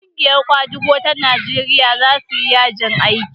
ƙungiyar kwadago ta Najeriya za su yi yajin aiki